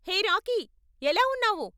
హే Rocky, ఎలా ఉన్నావు?